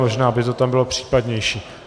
Možná by to tam bylo případnější.